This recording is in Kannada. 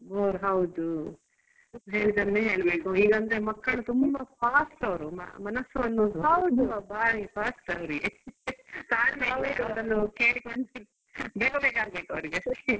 ಹೌದು ಹೇಳಿದ್ದನ್ನೇ ಹೇಳ್ಬೇಕು ಇಲ್ಲ ಅಂದ್ರೆ ಮಕ್ಕಳು ತುಂಬಾ fast ಅವ್ರು ಮನಸ್ಸು ಅನ್ನೋದು ತುಂಬಾ ಬಾರಿ fast ಅವ್ರಿಗೆ . ಬೇಗ ಬೇಗ ಆಗ್ಬೇಕು ಅವರಿಗೆ .